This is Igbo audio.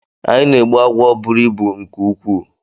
Anyi na-egbu agwọ bụrụ ịbụ nke nkwuu.